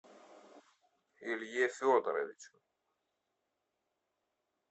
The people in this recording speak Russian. илье федоровичу